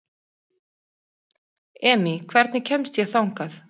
Emý, hvernig kemst ég þangað?